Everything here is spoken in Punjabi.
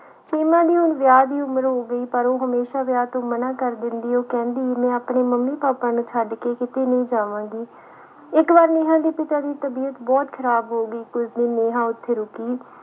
ਸੀਮਾ ਦੀ ਹੁਣ ਵਿਆਹ ਦੀ ਉਮਰ ਹੋ ਗਈ ਪਰ ਉਹ ਹਮੇਸ਼ਾ ਵਿਆਹ ਤੋਂ ਮਨਾ ਕਰ ਦਿੰਦੀ ਉਹ ਕਹਿੰਦੀ ਮੈਂ ਆਪਣੇ ਮੰਮੀ ਪਾਪਾ ਨੂੰ ਛੱਡ ਕੇ ਕਿਤੇ ਨਹੀਂ ਜਾਵਾਂਗੀ ਇਕ ਵਾਰ ਨੇਹਾ ਦੇ ਪਿਤਾ ਦੀ ਤਬੀਅਤ ਬਹੁਤ ਖਰਾਬ ਹੋ ਗਈ ਕੁਝ ਦਿਨ ਨੇਹਾ ਉਥੇ ਰੁਕੀ